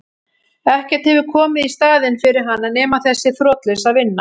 Ekkert hefur komið í staðinn fyrir hana nema þessi þrotlausa vinna.